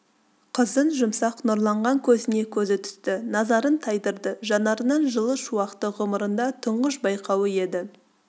қыздың жұмсақ нұрланған көзіне көзі түсті назарын тайдырды жанарынан жылы шуақты ғұмырында тұңғыш байқауы еді